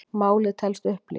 Málið telst upplýst